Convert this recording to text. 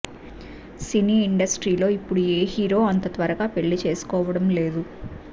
సినీ ఇండస్ట్రీలో ఇప్పడు ఏ హీరో అంత త్వరగా పెళ్లిచేసుకోవడం లేదు